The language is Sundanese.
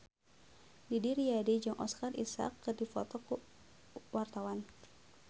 Didi Riyadi jeung Oscar Isaac keur dipoto ku wartawan